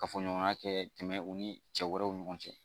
Kafo ɲɔgɔnya kɛ tɛmɛn u ni cɛ wɛrɛw ni ɲɔgɔn cɛ